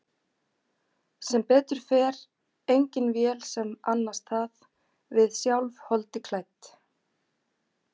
Sem betur fer engin vél sem annast það, við sjálf, holdi klædd.